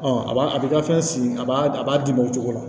a b'a a b'i ka fɛn sigi a b'a a b'a di ma o cogo la